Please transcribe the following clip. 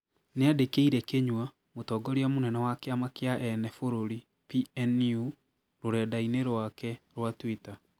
niandĩkĩire Kinyua mũtongoria mũnene wa kĩama kĩa ene bũrũri PNU rũrenda-inĩ rwake rwa twĩta